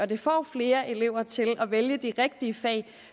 det får flere elever til at vælge de rigtige fag